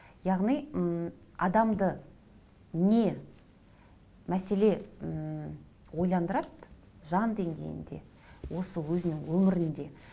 яғни ммм адамды не мәселе ммм ойландырады жан деңгейінде осы өзінің өмірінде